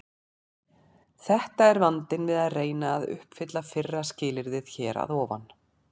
Þetta er vandinn við að reyna að uppfylla fyrra skilyrðið hér að ofan.